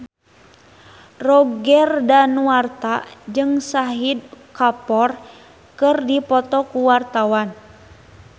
Roger Danuarta jeung Shahid Kapoor keur dipoto ku wartawan